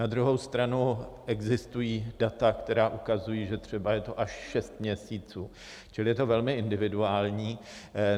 Na druhou stranu existují data, která ukazují, že třeba je to až šest měsíců, čili je to velmi individuální.